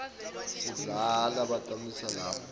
sidlani batammikisa lapha